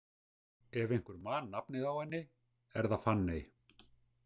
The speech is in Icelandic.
Ef einhver man nafnið á henni, er það Fanney.